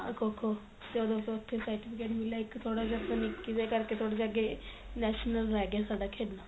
ਖੋ ਖੋ ਜਦੋ ਤੋਂ ਉੱਥੋ certificate ਮਿਲਿਆ ਇੱਕ ਥੋੜਾ ਜਾ ਦੇ ਕਰਕੇ ਥੋੜਾ ਜਾ ਅਗੇ national ਰਹਿ ਗਿਆ ਸਾਡਾ ਖੇਡਣਾ